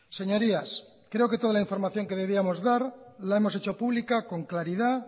señorías creo que toda la información de debíamos dar la hemos hecho pública con claridad